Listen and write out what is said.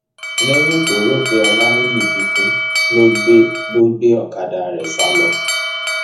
lẹyìn tó rò pé olanìyí ti kú ló gbé ló gbé ọkadà rẹ sá lọ